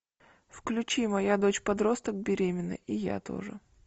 включи моя дочь подросток беременна и я тоже